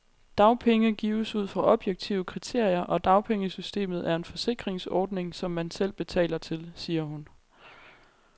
Dagpenge gives ud fra objektive kriterier, og dagpengesystemet er en forsikringsordning, som man selv betaler til, siger hun.